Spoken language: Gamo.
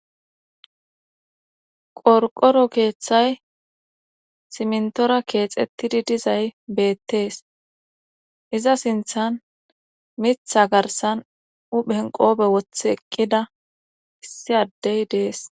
Qorqoro keeththay simntora keexettidi dizay beettees iza sinthan mitha garsan uphenqoobe woth eqqida issi addey dees.